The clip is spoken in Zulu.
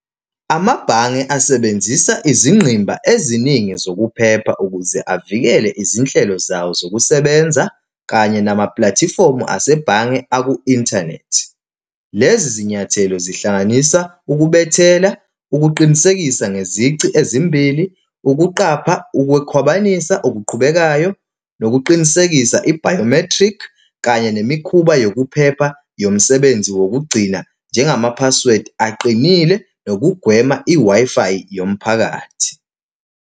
Amabhange asebenzisa izingqimba eziningi zokuphepha ukuze avikele izinhlelo zabo zokusebenza, kanye namaplathifomu asebhange aku-inthanethi. Lezi zinyathelo zihlanganisa ukubethela, ukuqinisekisa ngezici ezimbili, ukuqapha, ukukhwabanisa okuqhubekayo, nokuqinisekisa i-biometric, kanye nemikhuba yokuphepha yomsebenzi wokugcina, njengama-password aqinile, nokugwema i-Wi-Fi yomphakathi.